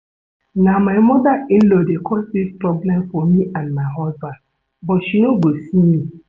Na my mother in-law dey cause dis problem for me and my husband but she no go see me